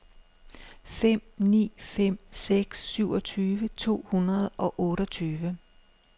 fem ni fem seks syvogtyve to hundrede og otteogtyve